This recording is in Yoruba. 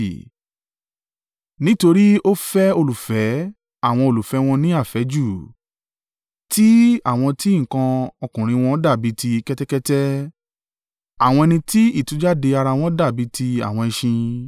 Nítorí ó fẹ́ olùfẹ́ àwọn olùfẹ́ wọn ní àfẹ́jù, tí àwọn tí nǹkan ọkùnrin wọn dàbí ti kẹ́tẹ́kẹ́tẹ́, àwọn ẹni tí ìtújáde ara wọn dàbí ti àwọn ẹṣin.